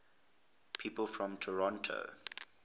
people from toronto